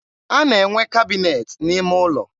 a na-enwe kabịnet n'ime ụlọ.